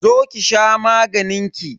Zo ki sha maganin ki.